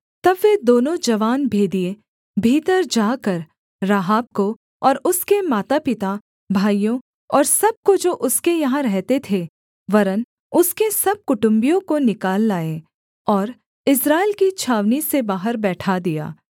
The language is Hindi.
तब वे दोनों जवान भेदिए भीतर जाकर राहाब को और उसके मातापिता भाइयों और सब को जो उसके यहाँ रहते थे वरन् उसके सब कुटुम्बियों को निकाल लाए और इस्राएल की छावनी से बाहर बैठा दिया